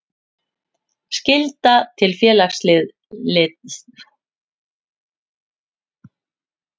Skylda til félagsslita.